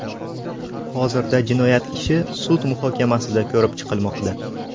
Hozirda jinoyat ishi sud muhokamasida ko‘rib chiqilmoqda.